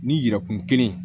Ni yɛrɛkun kelen